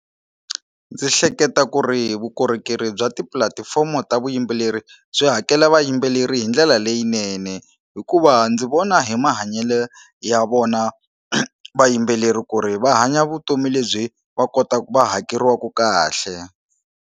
Ndzi hleketa ku ri vukorhokeri bya tipulatifomo ta vuyimbeleri byi hakela vayimbeleri hi ndlela leyinene hikuva ndzi vona hi mahanyelo ya vona vayimbeleri ku ri va hanya vutomi lebyi va kotaka va hakeriwaku kahle.